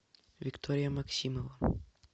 виктория максимова